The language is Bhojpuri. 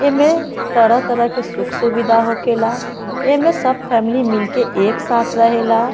एमे तरह-तरह के सुख-सुविधा होखेला एमे सब फैमिली मिल के एक साथ रहेला।